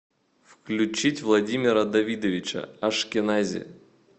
включить владимира давидовича ашкенази